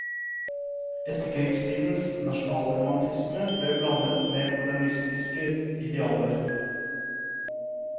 Etterkrigstidens nasjonalromantisme ble blandet med modernistiske idealer.